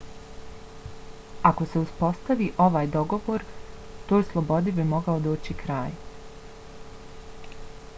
ako se uspostavi ovaj dogovor toj slobodi bi mogao doći kraj